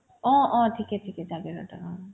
অ অ ঠিকে ঠিকে জাগীৰোডৰ অ হয়